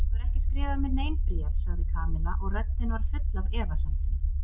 Þú hefur ekki skrifað mér nein bréf sagði Kamilla og röddin var full af efasemdum.